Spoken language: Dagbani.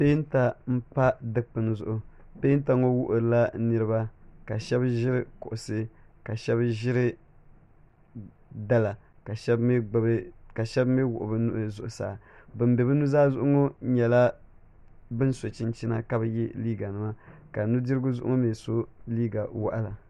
Pɛɛnta n pa dikpuni zuɣu pɛɛnta ŋɔ wuɣila niriba ka shɛb ʒiri kuɣusi ka shɛb ʒiri dala ka shɛbi mi wuɣi be nuhi zuɣu saa ban be bi nuzaa zuɣu ŋɔ nyɛla ban so chinchina ka bi ye liga nima ka nudirigu zuɣu ŋɔ mi so liga waɣala.